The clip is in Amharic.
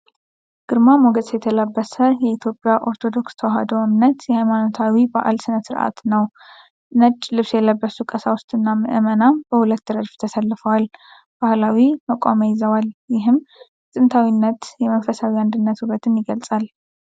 ግርማ ሞገስ የተላበሰ የኢትዮጵያ ኦርቶዶክስ ተዋሕዶ እምነት የሃይማኖታዊ በዓል ሥነ-ሥርዓትን ነው። ነጭ ልብስ የለበሱ ቀሳውስትና ምእመናን በሁለት ረድፍ ተሰልፈው፣ ባህላዊ መቋሚያ ይዘዋል። ይህም የጥንታዊነትና የመንፈሳዊ አንድነትን ውበት ይገልጻል።